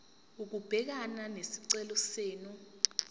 ukubhekana nesicelo senu